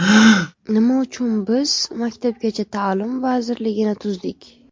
Nima uchun biz Maktabgacha ta’lim vazirligini tuzdik?